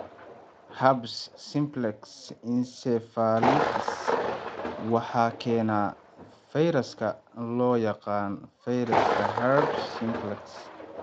Herpes simplex encephalitis waxaa keena fayraska loo yaqaan fayraska herpes simplex.